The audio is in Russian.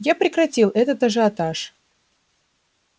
я прекратил этот ажиотаж